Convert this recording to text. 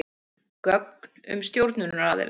Gögn um stjórnunaraðila.